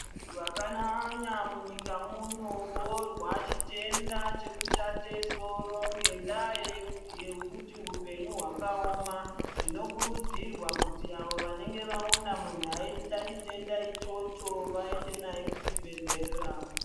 Vantu vakanyanya munyika muno vohwa chitenda chekushate soro ngendaa yekuti hupenyu hwakaoma. Zvinokurudzirwa kuti avo vanenge vaona muntu aiita chitenda ichocho vaende naye kuchibhedhlera.